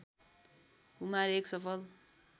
कुमार एक सफल